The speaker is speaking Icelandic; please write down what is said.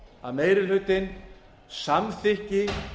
að meiri hlutinn samþykki